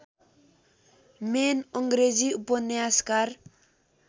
main अङ्ग्रेजी उपन्यासकार